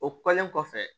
O kɛlen kɔfɛ